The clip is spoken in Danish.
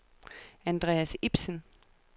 Andreas Ipsen